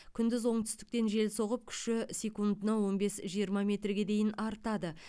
күндіз оңтүстіктен жел соғып күші секундына он бес жиырма метрге дейін артады